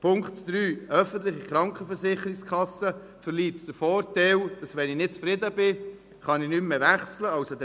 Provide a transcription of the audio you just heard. Zu Punkt 3: Eine öffentliche Krankenkasse hätte nicht den Vorteil, dass ich wechseln kann, wenn ich nicht mehr zufrieden bin.